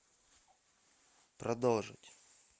продолжить